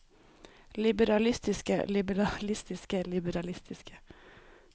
liberalistiske liberalistiske liberalistiske